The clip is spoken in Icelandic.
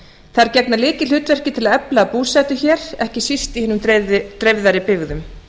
þær gegna lykilhlutverki til að efla búsetu hér ekki síst í hinum dreifðari byggðum